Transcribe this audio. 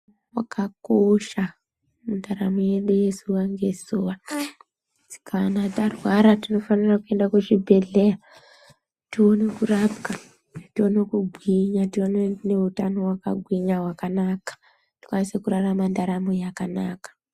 Wakakosha mundaramo yedu yezuwa ngezuwa aaa kana tarwara tinofanira kuenda kuzvibhedhleya tione kurapwa, tione kugwinya, tione neutano hwakagwinya, hwakanaka. Tikwanise kurarama ndaramo yakanaka.